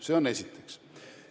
See on esiteks.